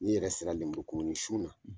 N'i yɛrɛ sera lumuru kumuni sun na.